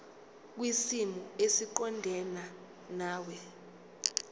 kwisimo esiqondena nawe